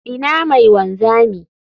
Ina mai wanzami?